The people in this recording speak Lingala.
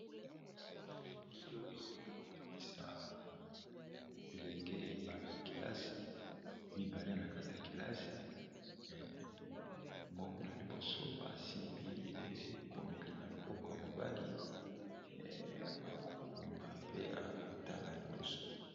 Elili oyo ekolakisa bilenge bana-kelasi mibale na kati ya kelasi moko na liboso asimbi ekomeli na loboko ya mobali akokoma pe akotala liboso.